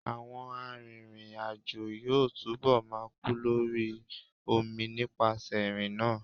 Àwọn arìnrìn-àjò yóò túnbọ̀ máa kú lórí omi nípasẹ̀ ìrìnnà.